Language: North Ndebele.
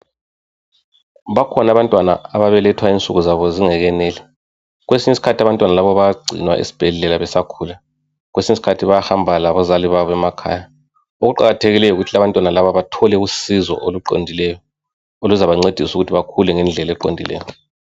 Bakhona abantwana ababelethwa insuku zabo zingekeneli kwesinye isikhathi abantwana labo bayagcinwa esibhedlela besakhula kwesinye isikhathi bayahamba labazali babo emakhaya okuqakathekileyo yikuthi abantwana laba bathole usizo oluqondileyo oluzabancedisa ukuthi bakhule ngendlela eqondileyo.